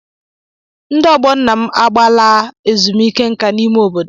Ndị ọgbọ nna m agbaala ezumike nka n'ime obodo.